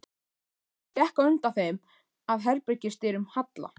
Hún gekk á undan þeim að herbergis- dyrum Halla.